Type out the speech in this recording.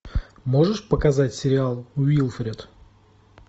можешь показать сериал уилфред